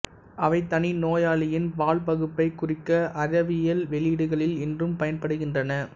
அவை தனி நோயாளியின் பால்பகுப்பைக் குறிக்க அறிவியல் வெளியீடுகளில் இன்றும் பயன்படுகின்றன